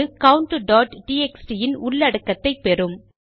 அது countடிஎக்ஸ்டி இன் உள்ளடக்கத்தை பெறும்